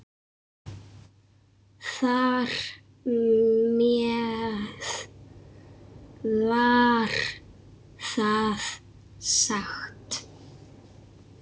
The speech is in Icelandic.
Þar með var það sagt.